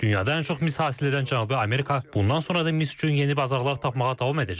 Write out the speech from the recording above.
Dünyada ən çox mis hasil edən Cənubi Amerika bundan sonra da mis üçün yeni bazarlar tapmağa davam edəcək.